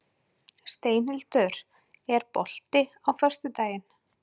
Steinhildur, er bolti á föstudaginn?